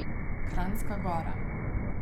Kranjska Gora.